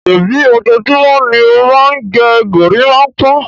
Ṣèbí ojoojúmọ́ ni ó máa ń gẹ gorímápá?